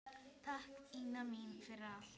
Takk, Ína mín, fyrir allt.